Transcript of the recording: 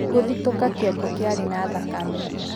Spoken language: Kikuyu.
Gũthitũka kĩongo kĩarĩ na thakame.